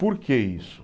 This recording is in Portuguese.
Por que isso?